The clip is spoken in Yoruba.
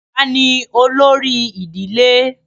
bàbá ni olórí ìdílé